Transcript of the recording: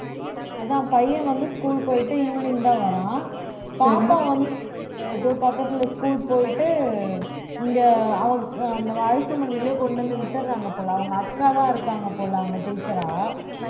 அதான் பையன் வந்து school போயிட்டு evening தான் வரான் பாப்பா வந்து எதோ பக்கத்துல school போயிட்டு இங்க அவன் அந்த அரிசி மண்டியிலே கொண்டு வந்து விட்டுறாங்க போல அவங்க அக்காதான் இருக்காங்க போல அவங்க teacher ஆ